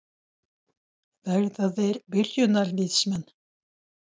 Verða þeir byrjunarliðsmenn?